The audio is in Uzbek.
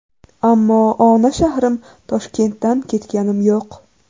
Ammo ona shahrim Toshkentdan ketganim yo‘q.